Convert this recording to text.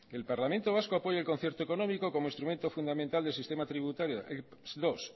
el parlamento vasco apoya el concierto económico como instrumento fundamental del sistema tributario dos